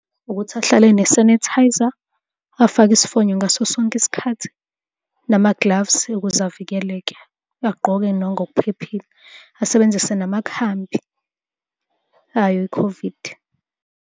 Ukuthi ahlale enesanitizer, afake isifonyo ngaso sonke isikhathi, nama gloves ukuze avikeleke. Agqoke nangokuphephile, asebenzise namakhambi ayo i-COVID.